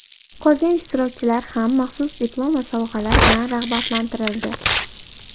Qolgan ishtirokchilar ham maxsus diplom va sovg‘alar bilan rag‘batlantirildi.